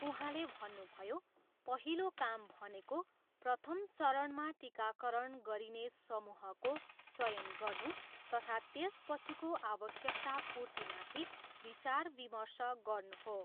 उहाँले भन्नुभयो, पहिलो काम भनेको प्रथम चरणमा टिकाकरण गरिने समूहको चयन गर्नु तथा त्य पछिको आवश्यकता पूर्तिमाथि विचार विमर्श गर्नु हो।